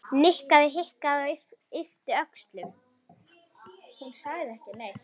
Nikki hikaði og yppti öxlum.